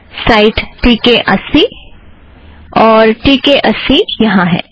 site T K अस्सी और T K अस्सी यहाँ है